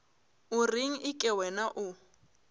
o reng eke wena o